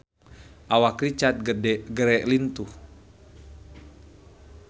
Awak Richard Gere lintuh